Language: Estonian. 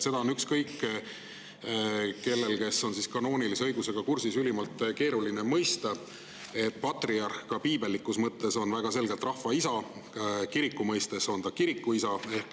Seda on ükskõik kellel, kes on kanoonilise õigusega kursis, ülimalt keeruline mõista, sest patriarh on, ka piibellikus mõttes, väga selgelt rahva isa, kiriku mõistes on ta kirikuisa.